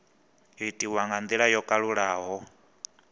itiwa nga ndila yo kalulaho